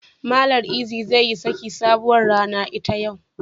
Mallam Eazy zai yi saki sabuwar rana ita yau.